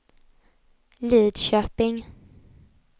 Lidköping